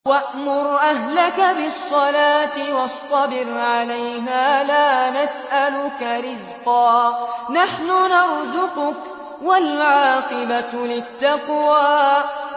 وَأْمُرْ أَهْلَكَ بِالصَّلَاةِ وَاصْطَبِرْ عَلَيْهَا ۖ لَا نَسْأَلُكَ رِزْقًا ۖ نَّحْنُ نَرْزُقُكَ ۗ وَالْعَاقِبَةُ لِلتَّقْوَىٰ